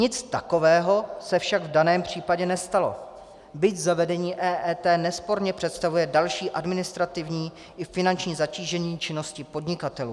Nic takového se však v daném případě nestalo, byť zavedení EET nesporně představuje další administrativní i finanční zatížení činnosti podnikatelů.